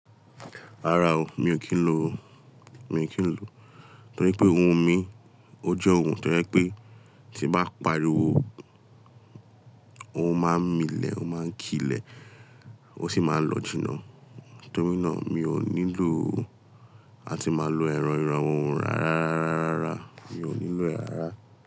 Rárá o, mi ò kí ń lo o, mi ò kí ń lo. Nítorí pé ohun mi, ó jẹ́ ohun tí yẹ pé tí bá pariwo, ó máa ń mí lẹ̀, ó máa ń kì ilẹ̀, ó sì máa ń lọ jìnnà. Nítorí náà, mi ò nílò ó. A ti máa ń lo èrò iranwo ohun ra, ra, ra, ra, ra. Mi ò nílò ẹ ràrà.